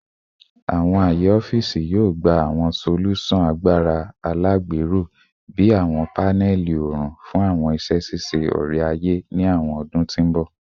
Awọn aaye ọfiisi yoo gba awọn solusan agbara alagbero bii awọn panẹli oorun fun awọn iṣẹ ṣiṣe ore-aye ni awọn ọdun ti n bọ